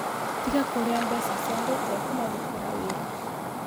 Tiga kũrĩa mbeca cia andũ ũtekũmarũtĩra wĩra.